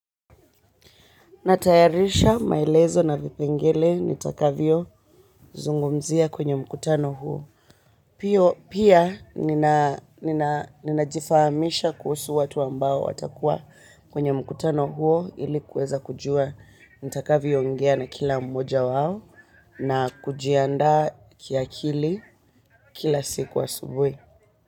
Natayarisha maelezo na vipengele nitakavyo zungumzia kwenye mkutano huo. Pia ninajifahamisha kuhusu watu ambao watakua kwenye mkutano huo ili kuweza kujua nitakavyo ongea na kila mmoja wao na kujiandaa kiakili kila siku asubuhi.